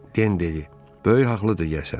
Den dedi: Böyük haqlıdır yəqin.